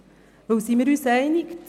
Denn wir sind uns einig: